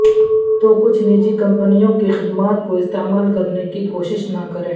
تو کچھ نجی کمپنیوں کی خدمات کو استعمال کرنے کی کوشش نہ کریں